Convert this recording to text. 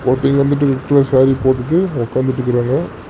Boating வந்துட்டு red colour sari போட்டுட்டு ஒக்காந்துட்டு இருக்காங்க.